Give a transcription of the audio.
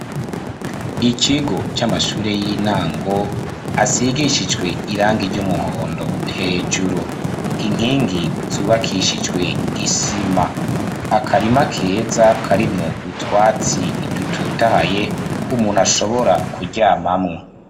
Ikigo, c'amashure y'intango, asigishijwe irangi ry'umuhondo, hejuru; inkingi zubakishijwe isima; akarima keza, karimwo utwatsi, dutotahaye, umuntu ashobora, kuryamamwo.